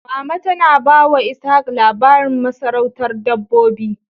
Mama tana ba wa Ishan labarin masarautar Dabbobi.